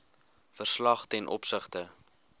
verslag ten opsigte